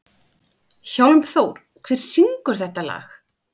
Hjálmþór, hver syngur þetta lag?